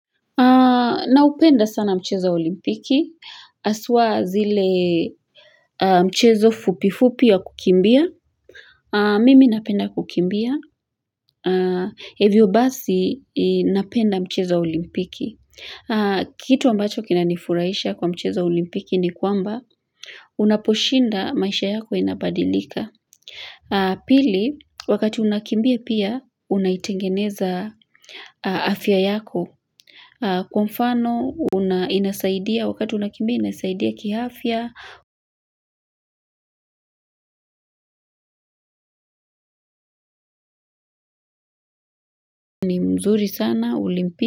Naupenda sana mchezo wa olimpiki haswa zile mchezo fupifupi ya kukimbia. Mimi napenda kukimbia hivyo basi napenda mchezo wa olimpiki. Kitu ambacho kinanifuraisha kwa mchezo wa olimpiki ni kwamba unaposhinda maisha yako inabadilika. Pili wakati unakimbia pia unaitengeneza afya yako. Kwa mfano unasaidia wakati unakimbia inasaidia kiafya. Ni mzuri sana.